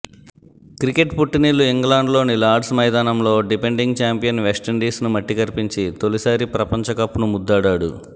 cricket పుట్టినిల్లు ఇంగ్లాండ్లోని Lord's మైదానంలో డిఫెండింగ్ ఛాంపియన్ వెస్టిండీస్ను మట్టికరిపించి తొలిసారి ప్రపంచకప్ను ముద్దాడాడు